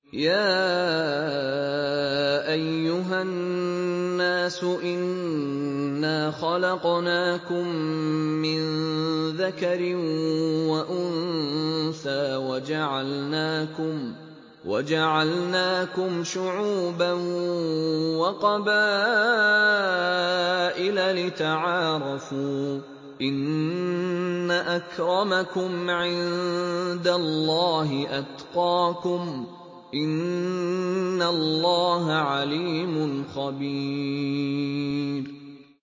يَا أَيُّهَا النَّاسُ إِنَّا خَلَقْنَاكُم مِّن ذَكَرٍ وَأُنثَىٰ وَجَعَلْنَاكُمْ شُعُوبًا وَقَبَائِلَ لِتَعَارَفُوا ۚ إِنَّ أَكْرَمَكُمْ عِندَ اللَّهِ أَتْقَاكُمْ ۚ إِنَّ اللَّهَ عَلِيمٌ خَبِيرٌ